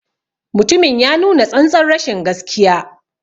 Mutumin ya nuna tsantar rashin gaskiya.